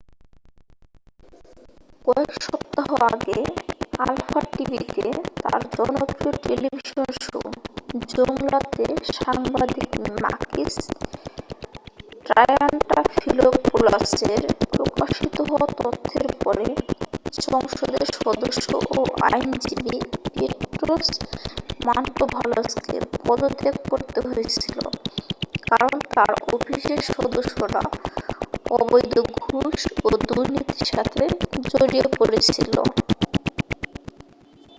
"কয়েক সপ্তাহ আগে আলফা টিভিতে তার জনপ্রিয় টেলিভিশন শো "জৌংলা" তে সাংবাদিক মাকিস ট্রায়ান্টাফিলোপোলাসের প্রকাশিত হওয়া তথ্যের পরে সংসদের সদস্য ও আইনজীবী পেট্রোস মান্টোভালোসকে পদত্যাগ করতে হয়েছিল কারণ তার অফিসের সদস্যরা অবৈধ ঘুষ ও দুর্নীতির সাথে জড়িয়ে পড়েছিল।